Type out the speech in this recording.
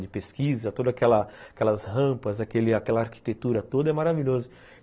De pesquisa, todas aquela aquelas rampas, aquela arquitetura toda é maravilhoso.